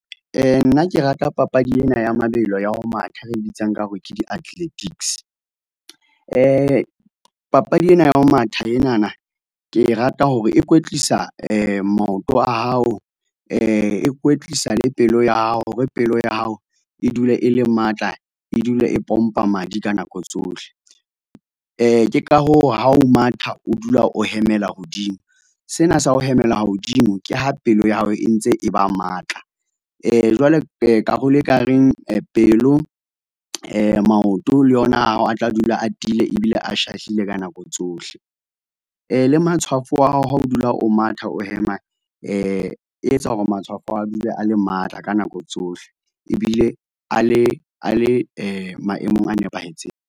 Nna ke rata papadi ena ya mabelo ya ho matha, e re e bitsang ka hore ke di-athletics. Papadi ena ya ho matha enana, ke e rata hore e kwetlisa maoto a hao, e kwetlisa le pelo ya hao hore pelo ya hao e dule e le matla, e dule e pompa madi ka nako tsohle. Ke ka hoo ha o matha, o dula o hemela hodimo, sena sa ho hemela hodimo, ke ha pelo ya hao e ntse e ba matla. Jwale karolo e ka reng pelo, maoto le yona a hao a tla dula a tiile, ebile a shahlile ka nako tsohle. Le matshwafo wa hao ha o dula o matha, o hema e etsa hore matshwafo a hao, a dule a le matla ka nako tsohle ebile a le, a le maemong a nepahetseng.